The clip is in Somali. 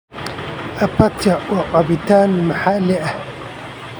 Apatia waa cabitaan maxalli ah.